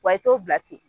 Wa i t'o bila ten